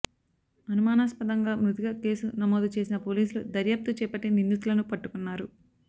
అనుమానాస్పదంగా మృతిగా కేసు నమోదు చేసిన పోలీసులు దర్యాప్తు చేపట్టి నిందితులను పట్టుకున్నారు